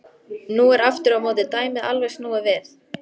Nú er aftur á móti dæmið alveg snúið við.